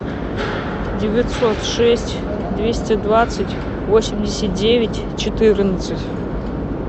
девятьсот шесть двести двадцать восемьдесят девять четырнадцать